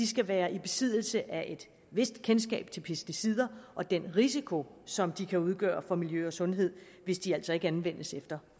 skal være i besiddelse af et vist kendskab til pesticider og den risiko som de kan udgøre for miljø og sundhed hvis de altså ikke anvendes efter